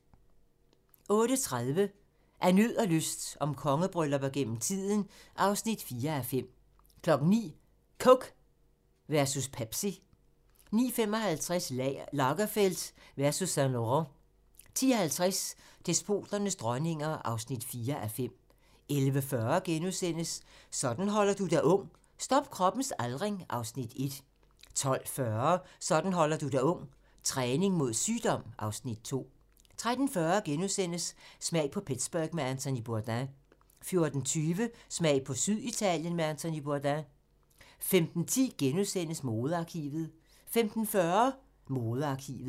08:30: Af nød og lyst - om kongebryllupper gennem tiden (4:5) 09:00: Coke versus Pepsi 09:55: Lagerfeld versus Saint-Laurent 10:50: Despoternes dronninger (4:5) 11:40: Sådan holder du dig ung: Stop kroppens aldring (Afs. 1)* 12:40: Sådan holder du dig ung: Træning mod sygdom (Afs. 2) 13:40: Smag på Pittsburgh med Anthony Bourdain * 14:20: Smag på Syditalien med Anthony Bourdain 15:10: Modearkivet * 15:40: Modearkivet